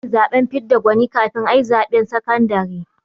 Ana yin zaɓen fidda gwani kafin a yi zaɓen sakandare